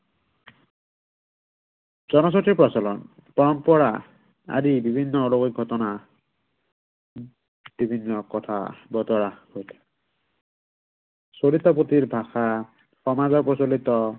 জনজাতিৰ প্ৰচলন। পৰম্পৰা, আদি বিভিন্ন অলৌকিক ঘটনা। বিভিন্ন কথা বতৰা চৰিত পুথিৰ ভাষা, সমাজত প্ৰচলিত